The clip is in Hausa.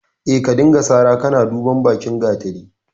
Eh, ka dinga sara kana duban bakin gatari.